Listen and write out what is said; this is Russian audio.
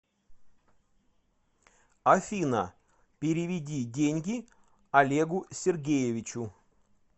афина переведи деньги олегу сергеевичу